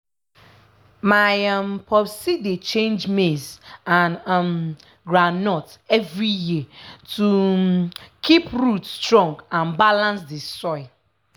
my um popsi dey change maize and um groundnut every year to um keep root strong and balance the soil.